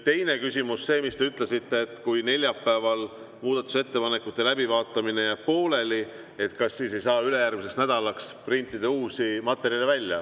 Teine küsimus, et kui neljapäeval jääb muudatusettepanekute läbivaatamine pooleli, kas siis ei saa ülejärgmiseks nädalaks printida välja uusi materjale.